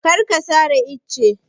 Kar ka sare ice!